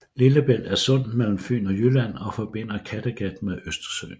Lillebælt er sundet mellem Fyn og Jylland og forbinder Kattegat med Østersøen